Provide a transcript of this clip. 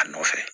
A nɔfɛ